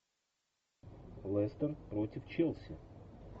лестер против челси